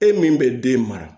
E min bɛ den mara